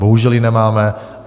Bohužel ji nemáme.